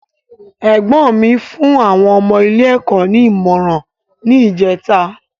Ẹ̀gbọ́n mi fún àwọn ọmọ ilé ẹ̀kọ́ ní ìmọràn ni ìjèta